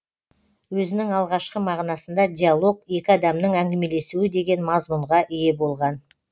өзінің алғашқы мағынасында диалог екі адамның әңгімелесуі деген мазмұнға ие болған